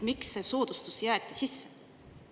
Miks see soodustus sisse jäeti?